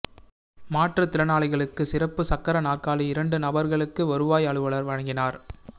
மாற்றுத்திறனாளிகளுக்கு சிறப்பு சக்கர நாற்காலி இரண்டு நபர்களுக்கு வருவாய் அலுவலர் வழங்கினார்